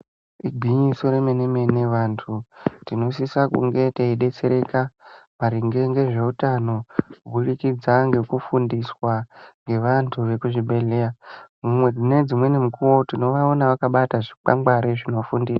Igwinyiso remene-mene vantu tinosisa kunge teidetsereka maringe ngezveutano kuburikidza ngekufundiswa ngevantu vekuzvibhedhleya. Mune dzimweni mukuwo tinovaona vakabata zvikwangwari zvinofundisa.